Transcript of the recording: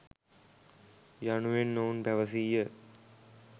යනුවෙන් ඔවුන් පැවසීය.